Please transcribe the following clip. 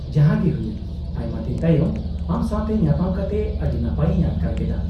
-ᱡᱟᱦᱟᱸ ᱜᱮ ᱦᱩᱭᱮᱱ, ᱟᱭᱢᱟ ᱫᱤᱱ ᱛᱟᱭᱚᱢ ᱟᱢ ᱥᱟᱶᱛᱮ ᱧᱟᱯᱟᱢ ᱠᱟᱛᱮ ᱟᱹᱰᱤ ᱱᱟᱯᱟᱭ ᱤᱧ ᱟᱴᱠᱟᱨ ᱠᱮᱫᱟ ᱾